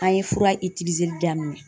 A ye fura daminɛ.